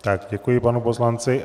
Tak děkuji panu poslanci.